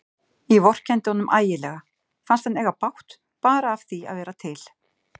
Ég vorkenndi honum ægilega, fannst hann eiga bágt bara af því að vera til.